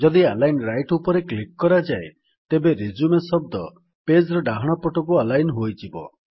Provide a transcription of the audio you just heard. ଯଦି align right ଉପରେ click କରାଯାଏ ତେବେ ରିଜ୍ୟୁମ ଶବ୍ଦ ପେଜ୍ ର ଡାହାଣ ପଟକୁ ଆଲାଇନ୍ ହୋଇଯିବ